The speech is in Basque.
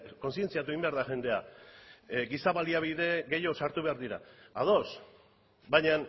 kontzientziatu egin behar da jendea giza baliabide gehiago sartu behar dira ados baina